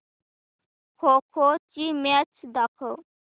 खो खो ची मॅच दाखव